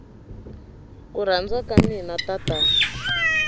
ku rhandza ka mina tatana